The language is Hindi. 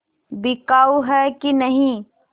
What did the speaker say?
बिकाऊ है कि नहीं